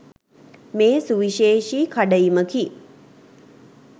මේ සුවිශේෂී කඩඉමකි